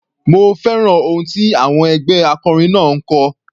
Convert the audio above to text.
Mo fẹ́ràn ohùn tí àwọn ẹgbẹ́ akọrin náà ń kọ.